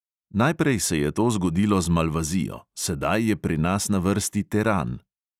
Najprej se je to zgodilo z malvazijo, sedaj je pri nas na vrsti teran.